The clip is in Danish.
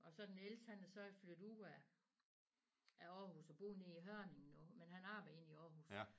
Og så den ældste han er så flyttet ud af af Aarhus og bor nede i Hørning nu men han arbejder inde i Aarhus